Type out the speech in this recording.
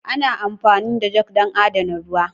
Ana amfani da jug don adana ruwa.